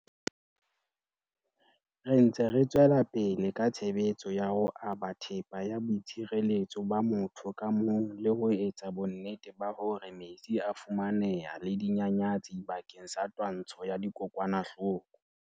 Re ntse re tswela pele ka tshebetso ya ho aba thepa ya boi tshireletso ba motho ka mong le ho etsa bonnete ba hore metsi a a fumaneha le dinyanyatsi bakeng sa twantsho ya dikokwanahloko.